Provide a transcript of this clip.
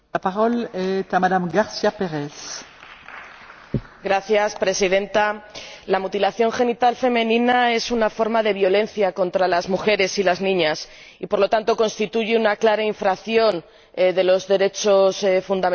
Señora Presidenta, la mutilación genital femenina es una forma de violencia contra las mujeres y las niñas y, por lo tanto, constituye una clara infracción de los derechos fundamentales de las personas.